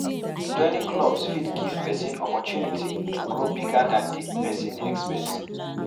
Joining clubs fit give person opportunity to grow bigger than di person expect